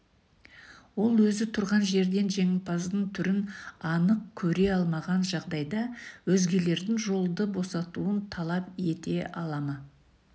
ол өзі тұрған жерден жеңімпаздың түрін анық көре алмаған жағдайда өзгелердің жолды босатуын талап ете ала ма